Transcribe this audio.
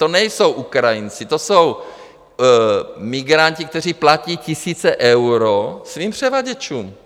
To nejsou Ukrajinci, to jsou migranti, kteří platí tisíce eur svým převaděčům.